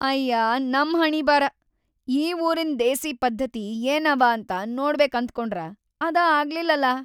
ಅಯ್ಯಾ ನಮ್ ಹಣೀಬಾರ! ಈ ಊರಿನ್ದ್‌ ದೇಸೀ ಪದ್ಧತಿ ಏನವ ಅಂತ ನೋಡ್ಬೇಕ್‌ ಅಂತನ್ಕೊಂಡ್ರ ಅದಾ ಆಗ್ಲಿಲ್ಲಲಾ.